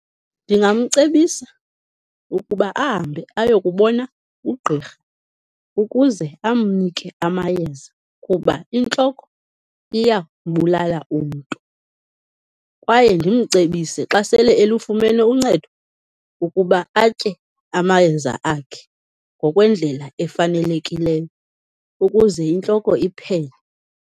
Ndingamcebisa ukuba ahambe aye kubona ugqirha ukuze amnike amayeza kuba intloko iyambulala umntu, kwaye ndimcebise xa sele elufumene uncedo ukuba atye amayeza akhe ngokwendlela efanelekileyo, ukuze intloko iphele.